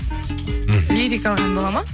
мхм лирикалық ән болады ма